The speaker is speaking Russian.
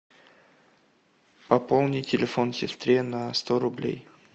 пополни телефон сестре на сто рублей